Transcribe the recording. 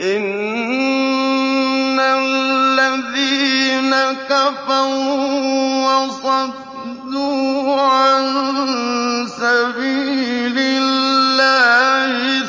إِنَّ الَّذِينَ كَفَرُوا وَصَدُّوا عَن سَبِيلِ اللَّهِ